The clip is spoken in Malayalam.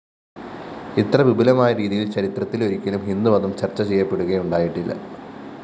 ഇത്ര വിപുലമായ രീതിയില്‍ ചരിത്രത്തിലൊരിക്കലും ഹിന്ദുമതം ചര്‍ച്ചചെയ്യപ്പെടുകയുണ്ടായിട്ടില്ല